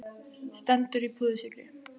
Stendur í púðurskýi.